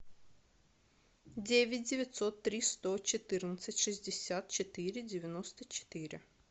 девять девятьсот три сто четырнадцать шестьдесят четыре девяносто четыре